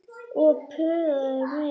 Og puðaði meira.